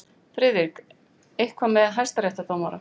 FRIÐRIK: Eitthvað með hæstaréttardómara.